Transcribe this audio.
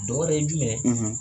Dɔ wɛrɛ ye jumɛn ye?